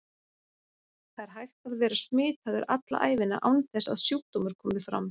Það er hægt að vera smitaður alla ævina án þess að sjúkdómur komi fram.